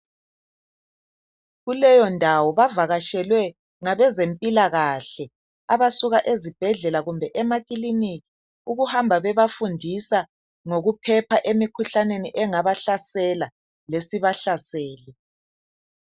Kuleyo ndawo bavakatshelwe ngabezempilakahle abasuka ezibhedlela kumbe amakilinika ukuhamba bebafundisa ngokuphepha emikhuhlaneni engabahlasela lesibahlasele.